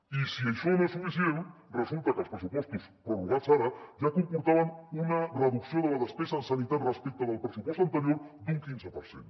i si això no és suficient resulta que els pressupostos prorrogats ara ja comportaven una reducció de la despesa en sanitat respecte del pressupost anterior d’un quinze per cent